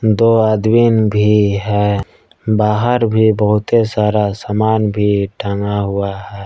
दो आदमीन भी है बाहर भी बहुते सारा सामान भी टंगा हुआ है।